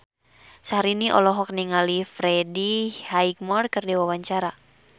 Syahrini olohok ningali Freddie Highmore keur diwawancara